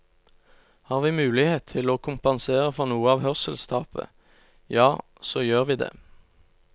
Har vi mulighet til å kompensere for noe av hørselstapet, ja, så gjør vi det.